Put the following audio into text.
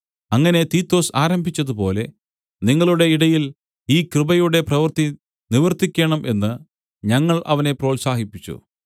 അങ്ങനെ തീത്തൊസ് ആരംഭിച്ചതുപോലെ നിങ്ങളുടെ ഇടയിൽ ഈ കൃപയുടെ പ്രവൃത്തി നിവർത്തിക്കേണം എന്ന് ഞങ്ങൾ അവനെ പ്രോത്സാഹിപ്പിച്ചു